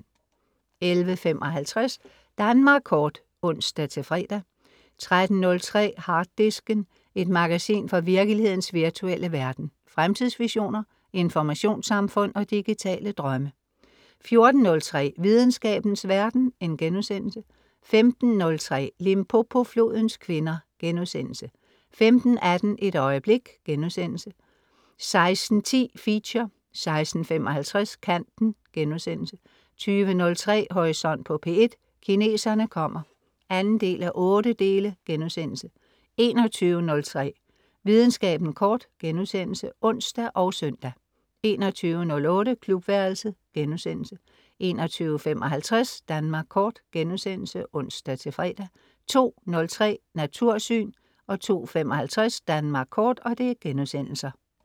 11.55 Danmark Kort (ons-fre) 13.03 Harddisken. Et magasin fra virkelighedens virtuelle verden. Fremtidsvisioner, informationssamfund og digitale drømme 14.03 Videnskabens verden* 15.03 Limpopoflodens kvinder* 15.18 Et øjeblik* 16.10 Feature 16.55 Kanten* 20.03 Horisont på P1: Kineserne kommer 2:8* 21.03 Videnskaben kort* (ons og søn) 21.08 Klubværelset* 21.55 Danmark Kort* (ons-fre) 02.03 Natursyn* 02.55 Danmark kort*